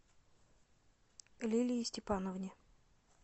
лилии степановне